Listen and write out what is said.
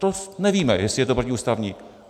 To nevíme, jestli je to protiústavní.